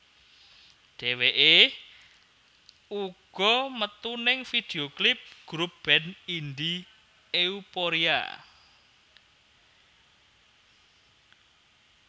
Dheweké uga metu ning video klip grup band Indi Euphoria